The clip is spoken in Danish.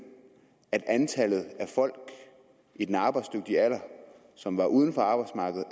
at antallet af folk i den arbejdsdygtige alder som var uden for arbejdsmarkedet